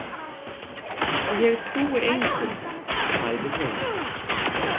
Ég trúi engum, sagði hún.